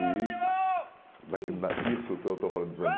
Isso, isso eu estou eu estou falando dos anos